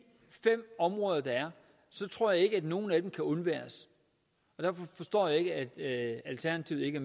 fem områder der er tror jeg ikke at nogen af dem kan undværes derfor forstår jeg ikke at alternativet ikke